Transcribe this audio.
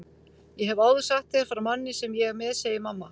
Ég hef áður sagt þér frá manni sem ég er með, segir mamma.